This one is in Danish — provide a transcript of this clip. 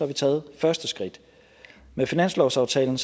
vi taget første skridt med finanslovsaftalen